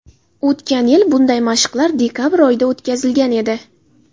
O‘tgan yili bunday mashqlar dekabr oyida o‘tkazilgan edi.